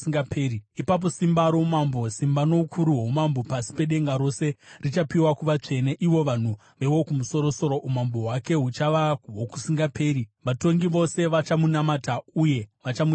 Ipapo simba roumambo, simba noukuru hwoumambo pasi pedenga rose richapiwa kuvatsvene, ivo vanhu veWokumusoro-soro. Umambo hwake huchava hwokusingaperi, vatongi vose vachamunamata uye vachamuteerera.’